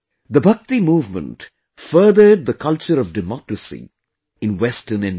The Bhakti movement furthered the culture of democracy in western India